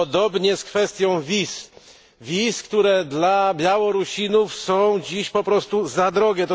Podobnie z kwestią wiz, które dla Białorusinów są dziś po prostu za drogie.